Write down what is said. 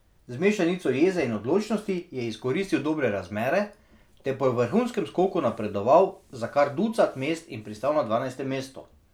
Z mešanico jeze in odločnosti je izkoristil dobre razmere ter po vrhunskem skoku napredoval za kar ducat mest in pristal na dvanajstem mestu.